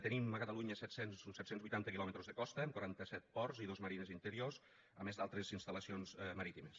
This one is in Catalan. tenim a catalunya uns set cents i vuitanta quilòmetres de costa amb quaranta set ports i dos marines interiors a més d’altres instal·lacions marítimes